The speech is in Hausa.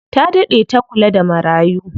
Ta daɗe ta kula da marayu.